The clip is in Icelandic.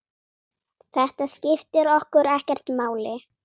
Þetta skiptir okkur ekkert máli.